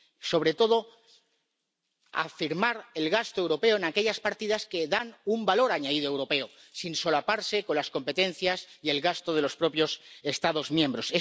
Sobre todo, hay que afirmar el gasto europeo en aquellas partidas que dan un valor añadido europeo, sin solaparse con las competencias y el gasto de los propios Estados miembros.